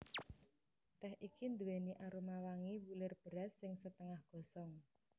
Tèh iki nduwèni aroma wangi wulir beras sing setengah gosong